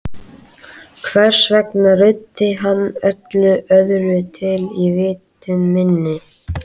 Hvers vegna ruddi hann öllu öðru til í vitund minni?